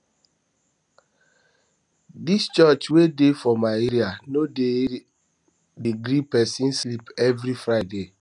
dis church wey dey for my area no dey area no dey gree pesin sleep every friday